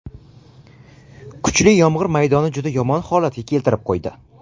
Kuchli yomg‘ir maydonni juda yomon holatga keltirib qo‘ydi.